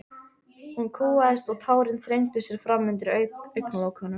Hún kúgaðist og tárin þrengdu sér fram undir augnalokunum.